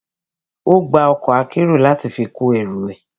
Ó gba ọkọ̀ akérò láti fi kó ẹrù ẹ.